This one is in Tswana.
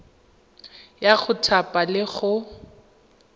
ya go thapa le go